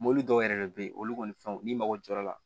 Mɔbili dɔw yɛrɛ be yen olu kɔni fɛnw n'i mago jɔra